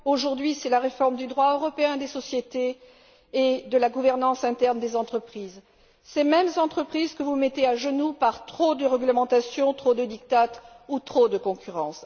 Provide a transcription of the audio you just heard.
Aujourd'hui, c'est la réforme du droit européen des sociétés et de la gouvernance interne des entreprises, ces mêmes entreprises que vous mettez à genoux par trop de réglementations, trop de diktats ou trop de concurrence.